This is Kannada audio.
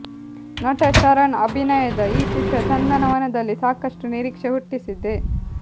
ನಟ ಶರಣ್ ಅಭಿನಯದ ಈ ಚಿತ್ರ ಚಂದನವನದಲ್ಲಿ ಸಾಕಷ್ಟು ನಿರೀಕ್ಷೆ ಹುಟ್ಟಿಸಿದೆ